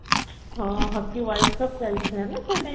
hockey cup ଚାଲିଥିଲା ନା ସେ time ରେ